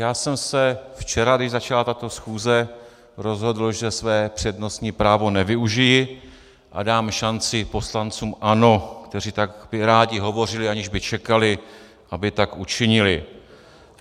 Já jsem se včera, když začala tato schůze, rozhodl, že své přednostní právo nevyužiji a dám šanci poslancům ANO, kteří by tak rádi hovořili, aniž by čekali, aby tak učinili.